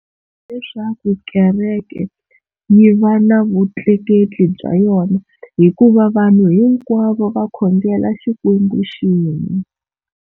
Hi leswaku kereke yi va na vutleketli bya yona hikuva vanhu hinkwavo va khongela Xikwembu xin'we.